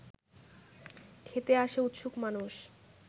খেতে আসে উৎসুক মানুষ